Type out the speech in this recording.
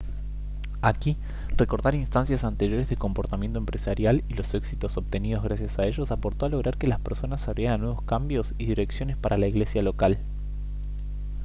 aquí recordar instancias anteriores de comportamiento empresarial y los éxitos obtenidos gracias a ellos aportó a lograr que las personas se abrieran a nuevos cambios y direcciones para la iglesia local